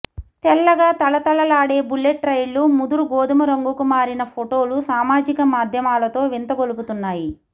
తెల్లగా తళతళలాడే బుల్లెట్ రైళ్ళు ముదురు గోధుమ రంగుకు మారిన ఫోటోలు సామాజిక మాధ్యమాలలో వింత గొలుపుతున్నాయి